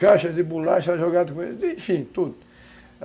caixa de bolacha jogado com ele, enfim, tudo.